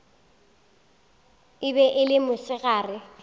e be e le mosegare